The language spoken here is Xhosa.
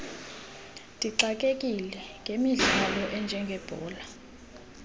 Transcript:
ndixakekile ngemidlalo enjengebhola